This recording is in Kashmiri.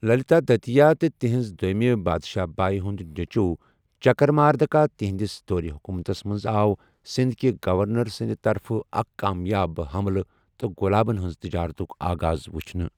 للیتادتیہ تہٕ تہنٛز دوٚیمہِ بادشاہ باے ہُنٛد نیچُو چکرماردکا، تہنٛدِس دورِ حکوٗمتَس مَنٛز آو سندھ کہِ گورنر سٕنٛد طرفہٕ اکھ کامیاب حملہٕ تہٕ غلامَن ہِنٛز تجارتُک آغاز وچھنہٕ۔